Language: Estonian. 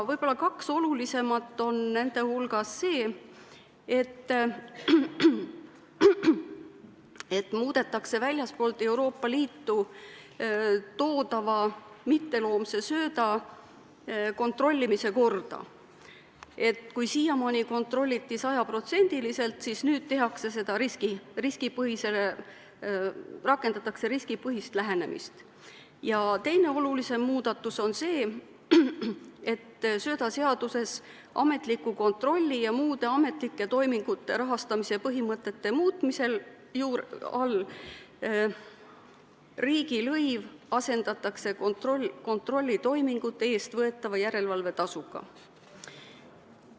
Võib-olla kaks olulisemat nende hulgas on, et muudetakse väljastpoolt Euroopa Liitu toodava mitteloomse sööda kontrollimise korda – kui siiamaani kontrolliti sajaprotsendilisel, siis nüüd tehakse seda riskipõhiselt –, ja teine olulisem muudatus on see, et söödaseaduses ametliku kontrolli ja muude ametlike toimingute rahastamise põhimõtete muutmisel asendatakse riigilõiv kontrollitoimingute eest võetava järelevalvetasuga.